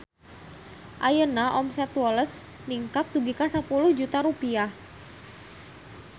Ayeuna omset Woles ningkat dugi ka 10 juta rupiah